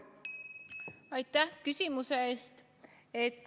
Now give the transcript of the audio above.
Aitäh küsimuse eest!